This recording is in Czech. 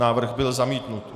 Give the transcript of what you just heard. Návrh byl zamítnut.